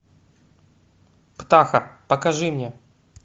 птаха покажи мне